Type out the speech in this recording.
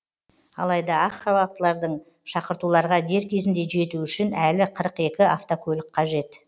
алайда ақ халаттылардың шақыртуларға дер кезінде жетуі үшін әлі қырық екі автокөлік қажет